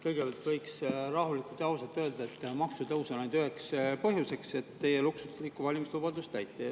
Kõigepealt võiks rahulikult ja ausalt öelda, et maksutõusu üheks põhjuseks on see, et teie luksuslikku valimislubadust täita.